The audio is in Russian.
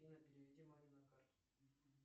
афина переведи маме на карту